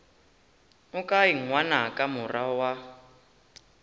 o kae ngwanaka morwa wa